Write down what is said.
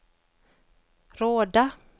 Råda